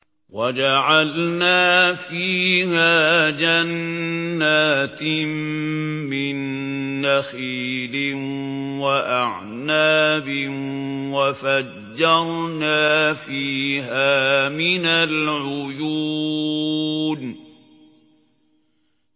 وَجَعَلْنَا فِيهَا جَنَّاتٍ مِّن نَّخِيلٍ وَأَعْنَابٍ وَفَجَّرْنَا فِيهَا مِنَ الْعُيُونِ